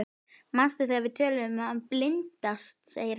Manstu þegar við töluðum um að bindast, segir hann.